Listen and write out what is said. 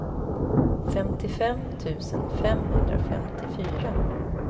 femtiofem tusen femhundrafemtiofyra